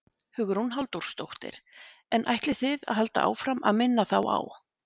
Hugrún Halldórsdóttir: En ætlið þið að halda áfram að minna þá á?